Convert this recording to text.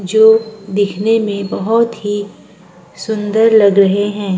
जो दिखने में बहुत ही सुंदर लग रहे हैं।